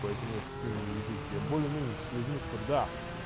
поэтому я с такими не веду я более менее с людьми которые